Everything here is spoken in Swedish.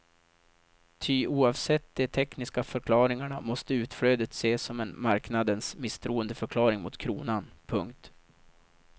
Ty oavsett de tekniska förklaringarna måste utflödet ses som en marknadens misstroendeförklaring mot kronan. punkt